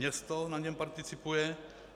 Město na něm participuje.